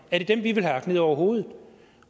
ned over hovedet